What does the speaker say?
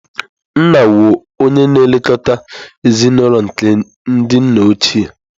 Nna wu oye na-elekọta ezinụlọ nke ndị nna ochie.